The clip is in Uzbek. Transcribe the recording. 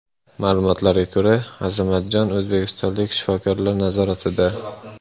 Ma’lumotlarga ko‘ra, Azamatjon o‘zbekistonlik shifokorlar nazoratida.